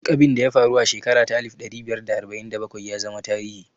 Duk abinda ya faru a shekara ta alif ɗari biyar da arba'in da bakwai ya zama tarihi